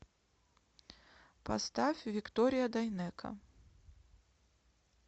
поставь виктория дайнеко